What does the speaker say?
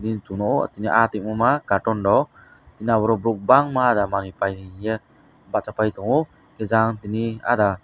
tini chung nogo tini ah tongmoima cartonrok tini aborog borok bangma ahda manui pai hinye bachapai tongio higkhe jang tini ahda.